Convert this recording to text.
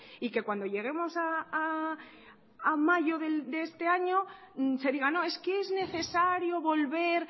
y que cuando lleguemos a mayo de este año se diga no es que es necesario volver